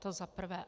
To za prvé.